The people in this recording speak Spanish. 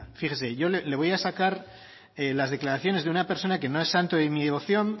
fíjese yo le voy a sacar las declaraciones de una persona que no es santo de mi devoción